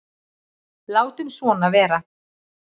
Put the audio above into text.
Látum svona vera.